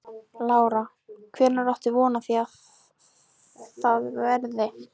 Lára: Hvenær áttu von á því að það verði?